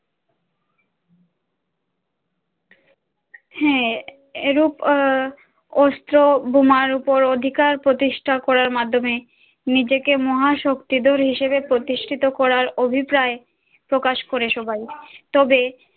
হাঁ এরূপ আহ অস্ত্র বোমার ওপর অধিকার প্রতিষ্ঠা করার মাধ্যমে নিজেকে মহা শক্তিধর হিসেবে প্রতিষ্ঠিত করার অভিপ্রায় প্রকাশ করে সবাই তবে